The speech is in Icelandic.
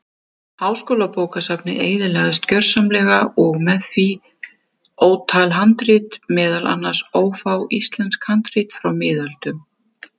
Háskólabókasafnið eyðilagðist gjörsamlega og með því ótal handrit, meðal annars ófá íslensk handrit frá miðöldum.